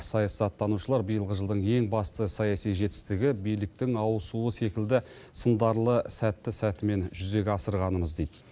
саясаттанушылар биылғы жылдың ең басты саяси жетістігі биліктің ауысуы секілді сындарлы сәтті сәтімен жүзеге асырғанымыз дейді